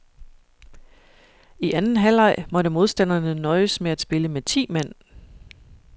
I anden halvleg måtte modstanderne nøjes med at spille med ti mand.